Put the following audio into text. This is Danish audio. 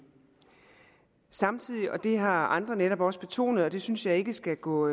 samtidig og det har andre netop også betonet og det synes jeg ikke skal gå